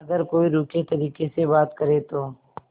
अगर कोई रूखे तरीके से बात करे तो